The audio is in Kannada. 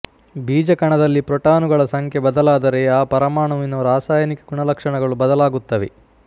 ಬೀಜಕಣದಲ್ಲಿ ಪ್ರೋಟಾನುಗಳ ಸಂಖ್ಯೆ ಬದಲಾದರೆ ಆ ಪರಮಾಣುವಿನ ರಾಸಾಯನಿಕ ಗುಣಲಕ್ಷಣಗಳು ಬದಲಾಗುತ್ತವೆ